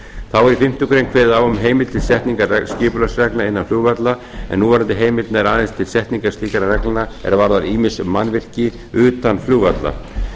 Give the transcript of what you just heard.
þá er í fimmtu grein kveðið á um heimild til setningu skipulagsreglna innan flugvalla en núverandi heimild nær aðeins til setningar slíkra reglna er varða ýmis mannvirki utan flugvalla